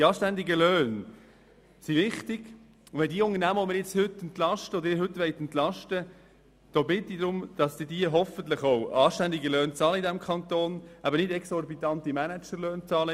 Die anständigen Löhne sind richtig, und ich bitte darum, dass diejenigen Unternehmen, die Sie nun entlasten wollen, in unserem Kanton dann hoffentlich auch anständige Löhne, aber nicht exorbitante Managerlöhne bezahlen.